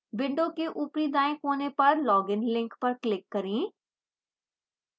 window के ऊपरी दाईं कोने पर login link पर click करें